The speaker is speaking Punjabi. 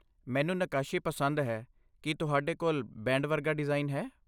ਮੈਨੂੰ ਨੱਕਾਸ਼ੀ ਪਸੰਦ ਹੈ। ਕੀ ਤੁਹਾਡੇ ਕੋਲ ਬੈਂਡ ਵਰਗਾ ਡਿਜ਼ਾਈਨ ਹੈ?